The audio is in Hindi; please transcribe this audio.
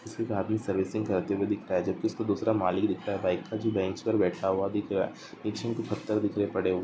किसिका आदमी सर्विसिंग करते हुए दिख रही है जबकि उसका दूसरा मालिक दिखता रहता है जो एक बेंच पर बैठा हुआ दिख रहा है निचे में कुछ पत्थर बिखरे हुए हैं।